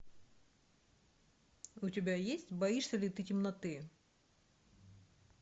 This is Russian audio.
у тебя есть боишься ли ты темноты